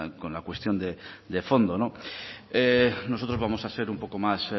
con la cuestión de fondo nosotros vamos a ser un poco más